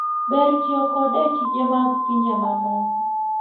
Ber tiyo kode e tije mag pinje mamoko.